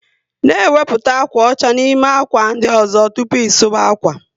N' ewepụta ákwà ọcha n'ime ákwà ndị ọzọ tụpụ ị suba akwa